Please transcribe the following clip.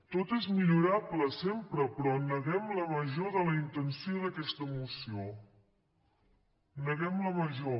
tot és millorable sempre però neguem la major de la intenció d’aquesta moció en neguem la major